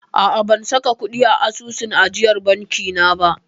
A'a, ban saka kuɗi a asusun ajiyar banki na ba.